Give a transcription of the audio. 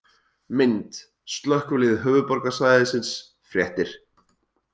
Mynd: Slökkvilið Höfuðborgarsvæðisins- Fréttir